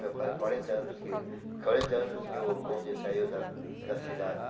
Ia fazer quarenta anos que quarenta anos que o bonde saiu da da cidade.